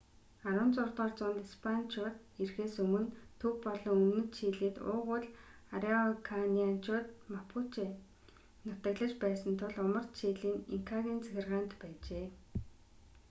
16-р зуунд испаничууд ирэхээс өмнө төв болон өмнөд чилид уугуул арауканианчууд мапуче нутаглаж байсан тул умард чили нь инкагийн захиргаанд байжээ